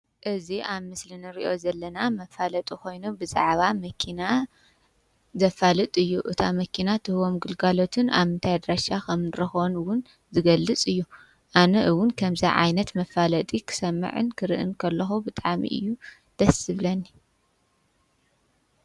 እዚ ኣብ ምስሊ ንርእዮ ዘለና መፋለጢ ኾይኑ ብዛዕባ መኪና ዘፋልጥ እዩ፡፡ እታ መኪና ትህቦም ግልጋሎትን ኣብ ምንታይ ኣድራሻ ኸምንረኽቦ ውን ዝገልፅ እዩ፡፡ ኣነ እውን ከምዙይ ዓይነት መፋለጢ ኽሰምዕን ክርእን ከለኹ ብጣዕሚ እዩ ደስ ዝብለኒ፡፡